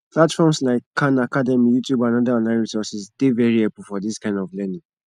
platforms like khan academy youtube and oda online resources dey very helpful for dis kind of learning